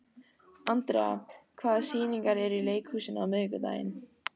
Andrea, hvaða sýningar eru í leikhúsinu á miðvikudaginn?